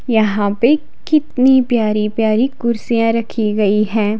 यहां पे कितनी प्यारी-प्यारी कुर्सियां रखी गई हैं।